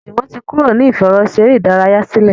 Juwon tí Kúrò ní ìfẹ̀rọṣeré ìdárayá sílè